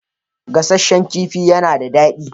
Gasasshen kifi ya na da daɗi.